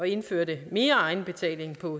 indførte mere egenbetaling på